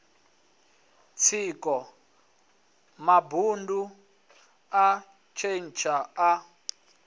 tsiko mabundu a khentsa a